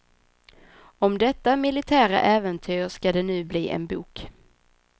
Om detta militära äventyr ska det nu bli en bok.